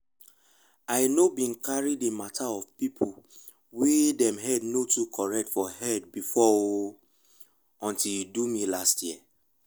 i no been carry the mata of people wey dem head no too correct for head before o until e do me last year